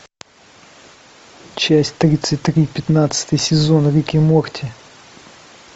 часть тридцать три пятнадцатый сезон рик и морти